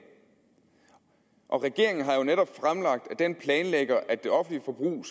og regeringen har jo netop fremlagt at den planlægger at det offentlige forbrug